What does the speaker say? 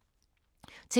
TV 2